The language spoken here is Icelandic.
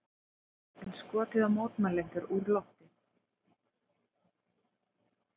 Enn skotið á mótmælendur úr lofti